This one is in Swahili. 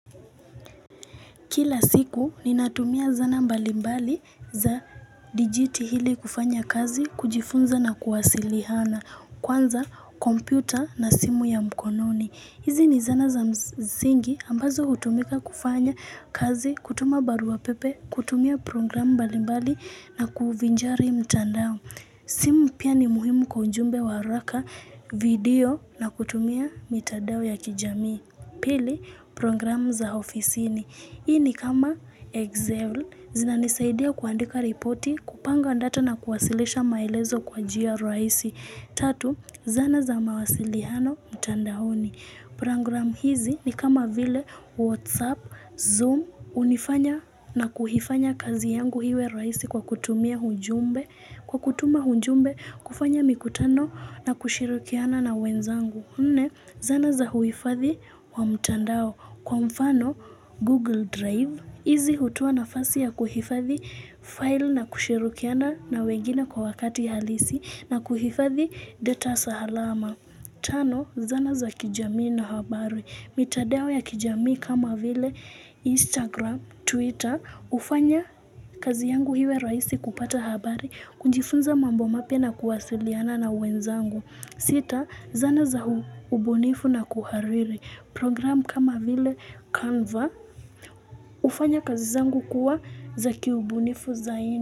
Kila siku, ninatumia zana mbalimbali za dijiti hili kufanya kazi, kujifunza na kuwasilihana, kwanza kompyuta na simu ya mkononi. Hizi ni zana za mzingi ambazo hutumika kufanya kazi, kutuma barua pepe, kutumia program mbalimbali na kuvinjari mtandao. Simu pia ni muhimu kwa ujumbe wa haraka, video na kutumia mitandao ya kijamii. Pili, program za ofisini. Hii ni kama Excel. Zina nisaidia kuandika ripoti, kupanga ndata na kuwasilisha maelezo kwa jia raisi. Tatu, zana za mawasilihano mtanda honi. Program hizi ni kama vile WhatsApp, Zoom, unifanya na kuhifanya kazi yangu hiwe raisi kwa kutumia hujumbe, kwa kutuma hujumbe, kufanya mikutano na kushirikiana na wenzangu. Nne, zana za huifadhi wa mtandao kwa mfano Google Drive. Izi hutoa na fasi ya kuhifadhi file na kushirikiana na wengine kwa wakati halisi na kuhifadhi data sahalama. Tano, zana za kijamii na habari. Mitadao ya kijamii kama vile Instagram, Twitter, ufanya kazi yangu hiwe raisi kupata habari, kunjifunza mambo mapya na kuwasiliana na wenzangu. Sita zana za hubunifu na kuhariri program kama vile Canva ufanya kazi zangu kuwa za kiubunifu zaidi.